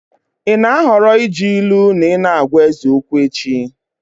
Ị na-ahọrọ iji ilu na ị na-agwa eze okwu echi.